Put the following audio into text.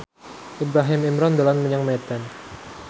Ibrahim Imran dolan menyang Medan